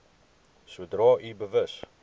sodra u bewus